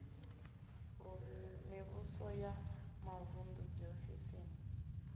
ḓu mivhuso ya mavuṋdu dziofisi